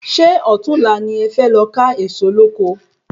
Sé òtunla ni e fe lọ ka Ẹ̀ẹ̀so lóko?